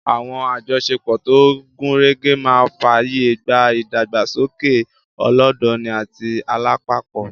Àwọn àjọṣepọ̀ tó gúnrégé máa fààyè gba ìdàgbàsókè ọlọ́dọni àti alápapọ̀